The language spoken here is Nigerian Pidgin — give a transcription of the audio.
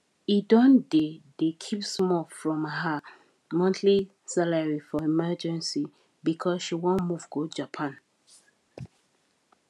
he don dey dey keep small from her monthly salary for emergency because she wan move go japan